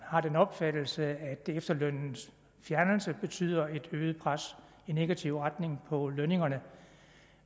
har den opfattelse at efterlønnens fjernelse betyder et øget pres i negativ retning på lønningerne